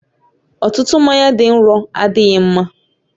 Ọtụtụ mmanya dị nro adịghị mma